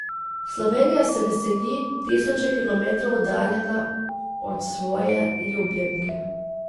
Slovenija se veseli, tisoče kilometrov oddaljena od svoje ljubljenke.